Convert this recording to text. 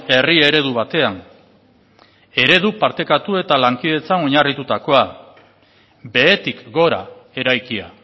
herri eredu batean eredu partekatu eta lankidetzan oinarritutakoa behetik gora eraikia